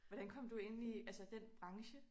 Hvordan kom du ind i altså den branche?